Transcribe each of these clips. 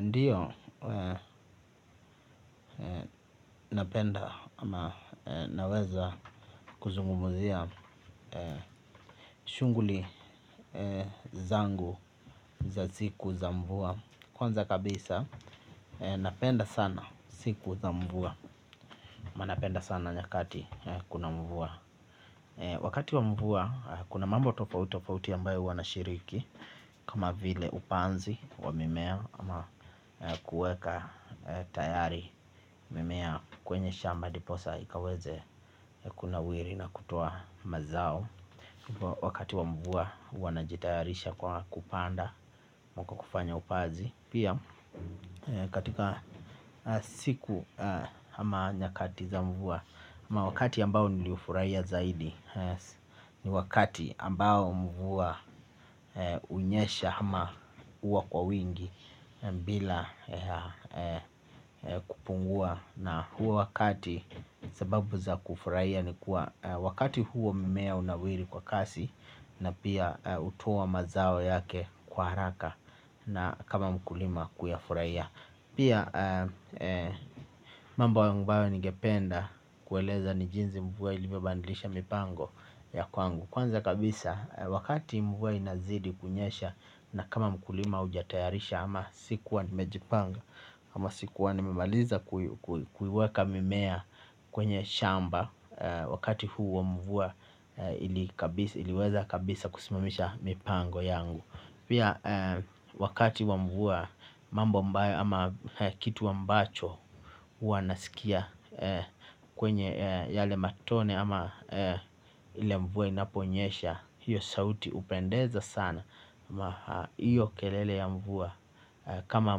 Ndiyo napenda ama naweza kuzungumuzia shughuli zangu za ziku za mvua. Kwanza kabisa napenda sana siku za mvua. Napenda sana nyakati kuna mvua. Wakati wa mvua kuna mambo tofauti tofauti ambayo huwa nashiriki. Kama vile upanzi wa mimea ama kuweka tayari mimea kwenye shamba ndiposa ikaweze kunawiri na kutoa mazao. Wakati wa mvua huwa najitayarisha kwa kupanda huku kufanya upazi. Pia katika siku kama nyakati za mvua ama wakati ambao niliufurahia zaidi ni wakati ambao mvua unyesha ama huwa kwa wingi. Bila kupungua na huo wakati sababu za kufurahia ni kuwa wakati huo mimea hunawiri kwa kasi. Na pia hutoa mazao yake kwa haraka na kama mkulima kuyafurahia pia mambo ambayo ningependa kueleza ni jinsi mvua ilivyobadilisha mipango ya kwangu kwanza kabisa wakati mvua inapozidi kunyesha na kama mkulima hujatayarisha ama sikua nimejipanga ama sikuwa nimemaliza kuiweka mimea kwenye shamba. Wakati huu wa mvua ili iliweza kabisa kusimamisha mipango yangu. Pia wakati wa mvua mambo ambayo ama kitu mbacho huwa naskia kwenye yale matone ama ile mvua inaponyesha hiyo sauti hupendeza sana ama hiyo kelele ya mvua kama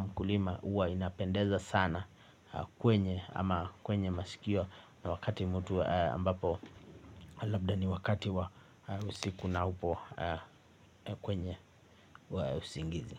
mkulima huwa inapendeza sana kwenye ama kwenye masikio wakati mtu ambapo labda ni wakati wa usiku na upo kwenye wa usingizi.